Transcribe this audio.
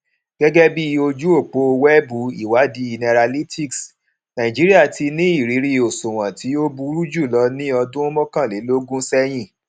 gẹgẹ bí ojú òpó wẹẹbù ìwádìí nairalytics nàìjíríà ti ní ìrírí òṣùwọn tí tí ó burú jùlọ ní ọdún mọkànlélógún sẹyìn